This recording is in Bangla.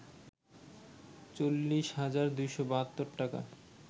৪০ হাজার ২৭২ টাকা